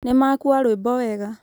nĩmakũa rwĩmbo wega